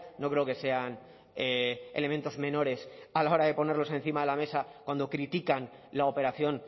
no creo que sean elementos menores a la hora de ponerlos encima de la mesa cuando critican la operación